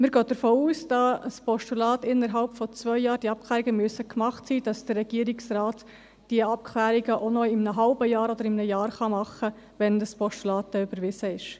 Wir gehen davon aus, da die Abklärungen für das Postulat innerhalb von zwei Jahren gemacht sein müssen, dass der Regierungsrat diese Abklärungen auch noch in einem halben Jahr oder in einem Jahr machen kann, wenn das Postulat überwiesen ist.